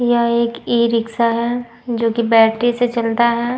यह एक ई-रिक्शा है जो कि बैटरी से चलता है।